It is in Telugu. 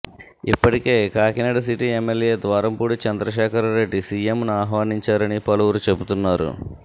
ఇప్పటికే కాకినాడ సిటీ ఎమ్మెల్యే ద్వారంపూడి చంద్రశేఖర్రెడ్డి సీఎంను ఆహ్వానించారని పలువురు చెబుతున్నారు